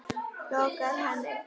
lokar henni.